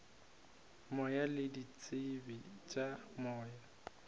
moya le ditsebe tša moya